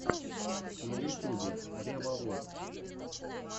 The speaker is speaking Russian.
на ютьюбе ревовод